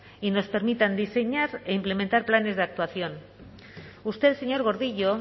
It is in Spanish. y nos permitan diseñar e implementar planes de actuación usted señor gordillo